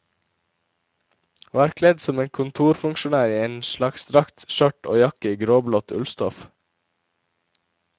Var kledd som en kontorfunksjonær i en slags drakt, skjørt og jakke i gråblått ullstoff.